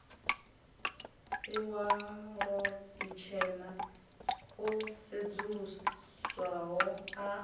iwalo itshena o sedzuluswaho a